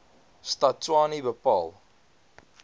stad tshwane bepaal